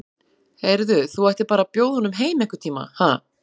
Heyrðu. þú ættir bara að bjóða honum heim einhvern tíma, ha.